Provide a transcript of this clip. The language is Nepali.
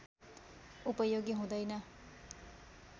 उपयोगी हुँदैन